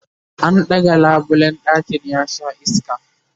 an ɗaga labulen ɗakin ya Sha iska